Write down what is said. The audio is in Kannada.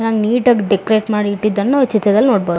ಚನ್ನಾಗಿ ನೀಟ್ ಆಗಿ ಡೆಕೋರಟ್ ಮಾಡ ಇಟ್ಟಿದನ್ನು ಈ ಚಿತ್ರದಲ್ಲಿ ನೋಡಬಹುದು.